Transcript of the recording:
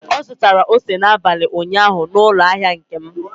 Ọ zụtara ose n'abalị ụnyaahụ n'ụlọ ahịa Nkem.